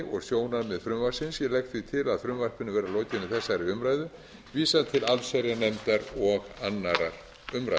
og sjónarmið frumvarpsins ég legg því til að frumvarpinu verði að lokinni þessari umræðu vísað til allsherjarnefndar og annarrar umræðu